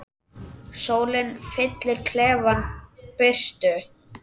Sólin fyllir klefann birtu.